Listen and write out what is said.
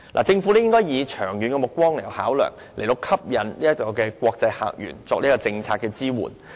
政府應以長遠目光作出考量，吸引國際客源作政策支援。